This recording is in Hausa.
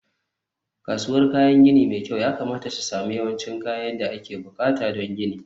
kasuwar kayan gini mai kyau yakamata ta sami yawancin kayan da ake buƙata don gini